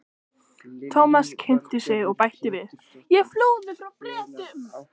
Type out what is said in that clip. Thomas kynnti sig og bætti við: Ég flúði frá Bretum